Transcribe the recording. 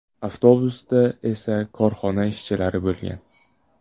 Avtobusda esa korxona ishchilari bo‘lgan.